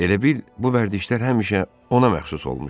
Elə bil bu vərdişler həmişə ona məxsus olmuşdu.